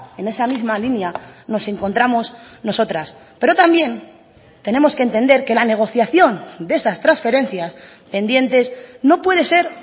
en esa misma línea nos encontramos nosotras pero también tenemos que entender que la negociación de esas transferencias pendientes no puede ser